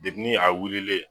Depi ni a wulile